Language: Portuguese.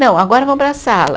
Não, agora vamos para a sala.